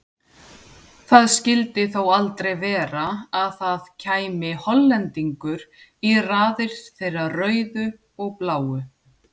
Það skildi þó aldrei vera að það kæmi Hollendingur í raðið þeirra rauðu og bláu?